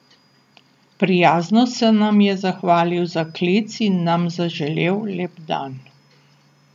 Prijazno se nam je zahvalil za klic in nam zaželel lep dan.